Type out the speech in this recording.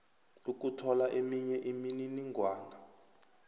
ukuthola eminye imininingwana